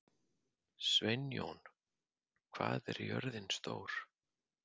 Sveinjón, hvað er jörðin stór?